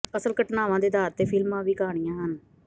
ਅਸਲ ਘਟਨਾਵਾਂ ਦੇ ਆਧਾਰ ਤੇ ਫਿਲਮਾਂ ਵੀ ਕਹਾਣੀਆਂ ਹਨ